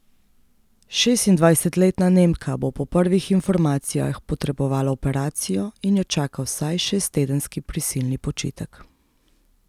Šestindvajsetletna Nemka bo po prvih informacijah potrebovala operacijo in jo čaka vsaj šesttedenski prisilni počitek.